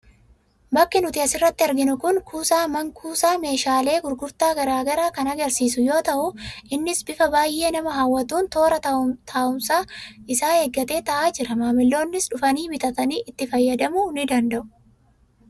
Bakki nuti asirratti arginu kun, kuusaa man-kuusaa meeshaalee gurgurtaa garaagaraa kan agarsiisu yoo ta'u, innis bifa baayyee nama hawwatuun toora taa'umsa isaa eeggatee taa'aa jira. Maamiloonnis dhufanii bitatanii itti fayyadamuu ni danda'u.